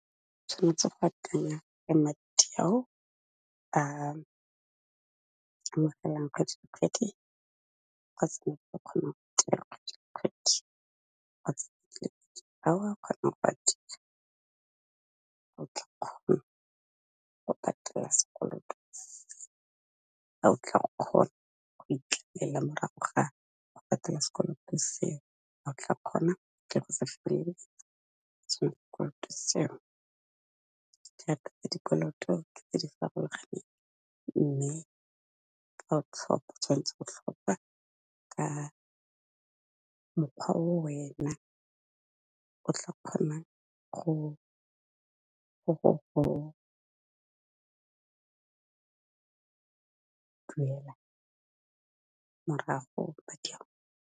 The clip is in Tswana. Tshwanetse go akanya le madi ao a amogelang kgwedi le kgwedi kgotsa o tla kgona go patela sekoloto, a o tla kgona go itlela morago ga go patela sekoloto seo, o tla kgona ke go sa feleletsa sekoloto seo. Dikoloto tse di farologaneng mme fa o tlhopha, tshwanetse go tlhopha ka mokgwa o wena tla kgonang go duelela morago madi ao.